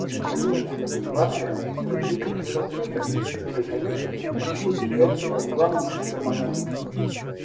им необходима адекватная терапия консервативная которая конечно на сегодня является самым главным гормональным компонентом